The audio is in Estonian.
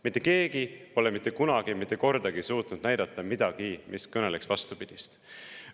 Mitte keegi pole mitte kunagi mitte kordagi suutnud näidata midagi, mis kõneleks vastupidist.